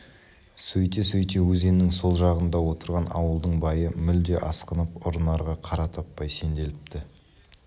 сөйте-сөйте өзеннің сол жағында отырған ауылдың бойы мүлде асқынып ұрынарға қара таппай сенділіпті